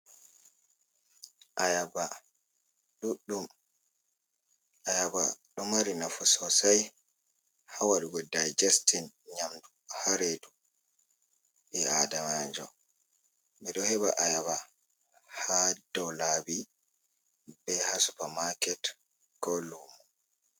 Ayaaba ɗuɗɗum, ayaaba ɗo mari nafu sosay, haa waɗugo dayjestin nyamdu haa reedu, ɓii aadamanjo. Ɓe ɗo heɓa aayaba haa dow laabi, be haa supamaket, ko luumo.